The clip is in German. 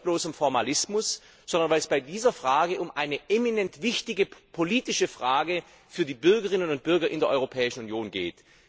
Nicht aus bloßem Formalismus, sondern weil es bei dieser Frage um eine eminent wichtige politische Frage für die Bürgerinnen und Bürger in der Europäischen Union geht.